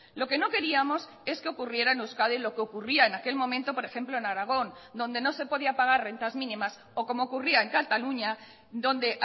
lo que no queríamos es que ocurriera en euskadi lo que ocurría en aquel momento por ejemplo en aragón donde no se podía pagar rentas mínimas o como ocurría en cataluña donde